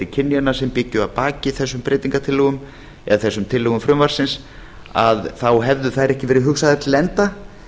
kynjanna sem byggju að baki þessum breytingartillögum eða þessum tillögum frumvarpsins hefðu þær ekki verið hugsaðar til enda